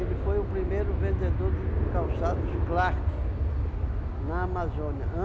Ele foi o primeiro vendedor de calçados Clark na Amazônia.